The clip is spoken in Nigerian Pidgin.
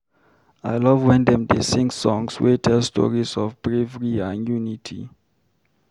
I love wen dem dey sing songs wey tell stories of bravery and unity.